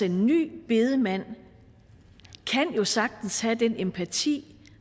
en ny bedemand jo sagtens kan have den empati